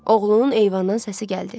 Oğlunun eyvandan səsi gəldi.